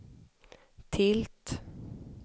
tilt